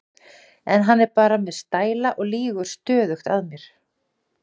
En hann er bara með stæla og lýgur stöðugt að mér.